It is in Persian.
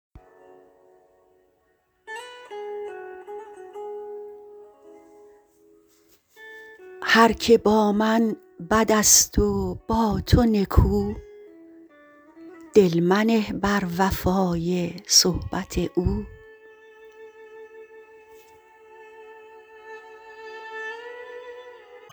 هر که با من بدست و با تو نکو دل منه بر وفای صحبت او